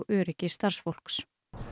öryggi starfsfólks